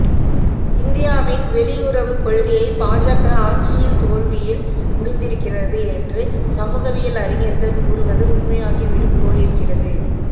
இந்தியாவின் வெளியுறவுக்கொள்கை பாஜக ஆட்சியில் தோல்வியில் முடிந்திருக்கிறது என்று சமூகவியல் அறிஞர்கள் கூறுவது உண்மையாகிவிடும் போலிருக்கிறது